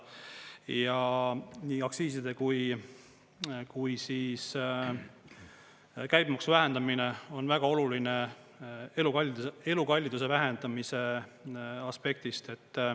Ja nii aktsiiside kui käibemaksu vähendamine on väga oluline elukalliduse vähendamise aspektist.